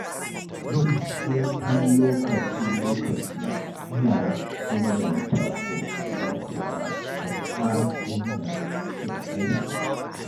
Yin hutun lokaci-lokaci yana inganta koshin lafiya da ƙara ingancin aiki.